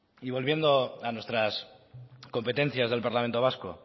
y volviendo a nuestras competencias del parlamento vasco